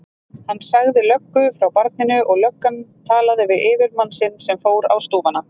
Hann sagði löggu frá barninu og löggan talaði við yfirmann sinn sem fór á stúfana.